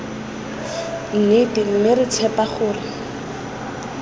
nnete mme re tshepa gore